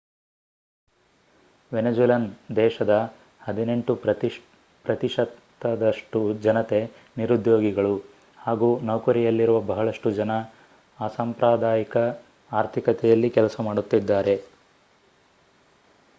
Venezuelan ದೇಶದ ಹದಿನೆಂಟು ಪ್ರತಿಶತದಷ್ಟು ಜನತೆ ನಿರುದ್ಯೋಗಿಗಳು ಹಾಗೂ ನೌಕರಿಯಲ್ಲಿರುವ ಬಹಳಷ್ಟು ಜನ ಅಸಾಂಪ್ರದಾಯಿಕ ಆರ್ಥಿಕತೆಯಲ್ಲಿ ಕೆಲಸ ಮಾಡುತ್ತಿದ್ದಾರೆ